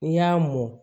N'i y'a mɔn